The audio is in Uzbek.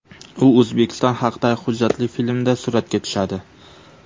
U O‘zbekiston haqidagi hujjatli filmda suratga tushadi.